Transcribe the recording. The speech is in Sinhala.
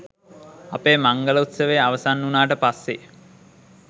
අපේ මංගල උත්සවය අවසන් වුණාට පස්සේ